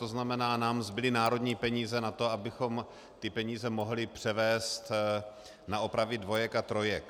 To znamená, nám zbyly národní peníze na to, abychom ty peníze mohli převést na opravy dvojek a trojek.